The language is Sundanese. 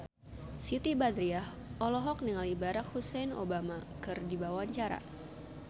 Siti Badriah olohok ningali Barack Hussein Obama keur diwawancara